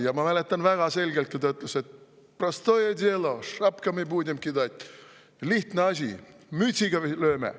" Ja ma mäletan väga selgelt, kui ta ütles: prostoje delo, šapkami budem kidat, lihtne asi, mütsiga lööme.